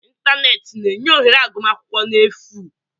Ịntanetị na-enye ohere agụmakwụkwọ n'efu.